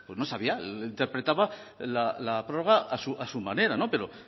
no sabía interpretaba la prórroga a su manera pero